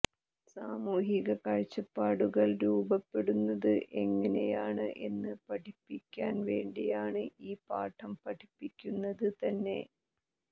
സാമൂഹിക കാഴ്ചപ്പാടുകൾ രൂപപ്പെടുന്നത് എങ്ങനെയാണ് എന്ന് പഠിപ്പിക്കാൻ വേണ്ടിയാണ് ഈ പാഠം പഠിപ്പിക്കുന്നത് തന്നെ